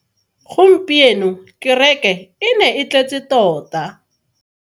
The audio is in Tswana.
Gompieno kereke e ne e tletse tota.